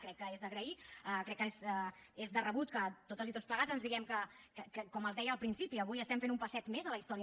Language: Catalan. crec que és d’agrair crec que és de rebut que totes i tots plegats ens diguem que com els deia al principi avui estem fent un passet més a la història